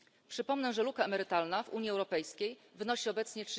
Przypomnę, że luka emerytalna w Unii Europejskiej wynosi obecnie